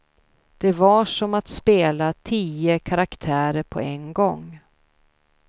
Det var som att spela tio karaktärer på en gång.